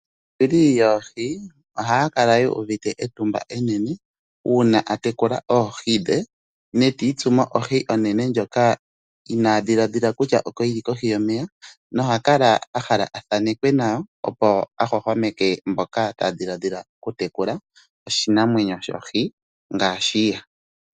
Aayungi yoohi ohaya kala uuvite utumba enene uuna a tekula oohi dhe ndee titsumo oohi onene ndjoka ina dhiladhila kutya oko yili kohi yomeya no hakala a hala athanekwe nayo opo a hohomeke mboka taya dhiladhila oku tekula oshinamwenyo shoohi ngaashi ye.